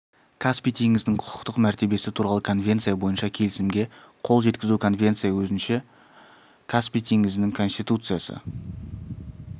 каспий теңізінің құқықтық мәртебесі туралы конвенция бойынша келісімге қол жеткізу конвенция өзінше каспий теңізінің конституциясы